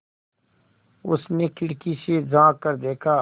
उसने खिड़की से झाँक कर देखा